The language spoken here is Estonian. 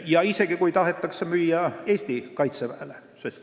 Isegi siis, kui tahetakse müüa Eesti Kaitseväele.